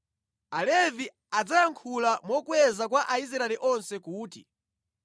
Alevi adzayankhula mokweza kwa Aisraeli onse kuti: